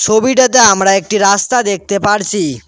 ছবিটাতে আমরা একটি রাস্তা দেখতে পারছি।